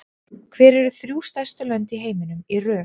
Hver eru þrjú stærstu lönd í heiminum í röð?